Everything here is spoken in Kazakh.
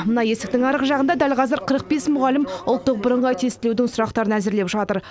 мына есіктің арғы жағында дәл қазір қырық бес мұғалім ұлттық бірыңғай тестілеудің сұрақтарын әзірлеп жатыр